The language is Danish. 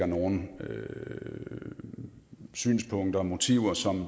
nogle synspunkter og motiver som